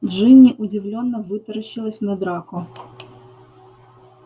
джинни удивлённо вытаращилась на драко